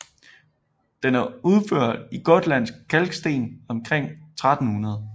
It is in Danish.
Den er udført i gotlandsk kalksten omkring 1300